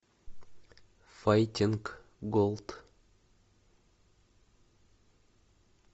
файтинг голд